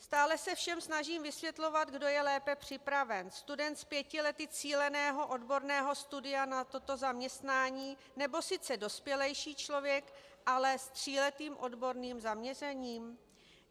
Stále se všem snažím vysvětlovat, kdo je lépe připraven - student s pěti lety cíleného odborného studia na toto zaměstnání, nebo sice dospělejší člověk, ale s tříletým odborným zaměřením?